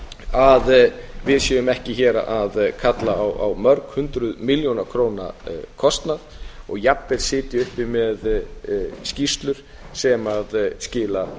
að við séum ekki hér að kalla á mörg hundruð milljóna króna kostnað og jafnvel sitja uppi með skýrslur sem skila